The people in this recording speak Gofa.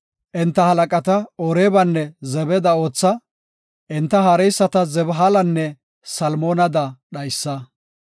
Enta halaqata Oreebanne Zebada ootha; enta haareyisata Zabheelanne Silmanada dhaysa.